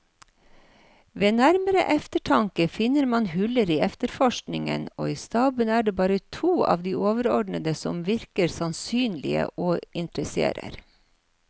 Ved nærmere eftertanke finner man huller i efterforskningen, og i staben er det bare to av de overordnede som virker sannsynlige og interesserer.